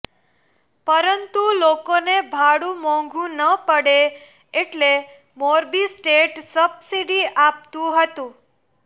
પરંતુ લોકોને ભાડુ મોંઘુ ન પડે એટલે મોરબી સ્ટેટ સબસીડી આપતુ હતું